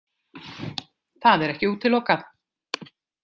Það er ekki útilokað.